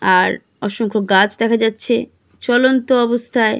আর অসংখ্য গাছ দেখা যাচ্ছে। চলন্ত অবস্থায়--